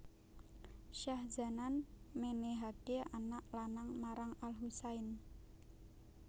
Syahzanan menehake anak lanang marang al Husain